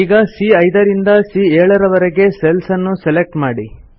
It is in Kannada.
ಈಗ ಸಿಎ5 ರಿಂದ ಸಿಎ7 ರ ವರೆಗೆ ಸೆಲ್ಸ್ ಅನ್ನು ಸೆಲೆಕ್ಟ್ ಮಾಡಿ